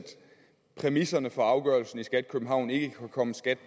præmisserne for afgørelsen i skat københavn ikke kunne komme skat